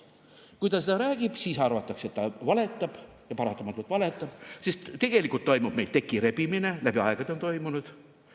Kui ta seda teeb, siis arvatakse, et ta valetab, ja paratamatult valetab, sest tegelikult toimub meil tekirebimine, on läbi aegade toimunud.